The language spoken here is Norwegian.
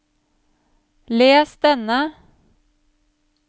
les denne